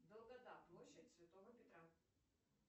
долгота площадь святого петра